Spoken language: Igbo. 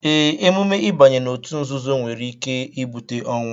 Ee, emume ịbanye òtù nzuzo nwere ike ibute ọnwụ